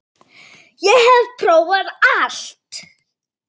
Ég hef prófað allt!